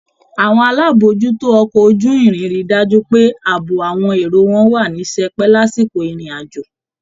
Àwọn alábòójútó ọkọ̀ ojú-irin rí i dájú pé ààbò àwọn èrò wà ní sẹpẹ́ lásìkò ìrìn àjò